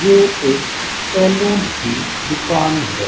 ये एक सैलून की दुकान है।